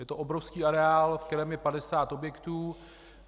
Je to obrovský areál, v kterém je 50 objektů.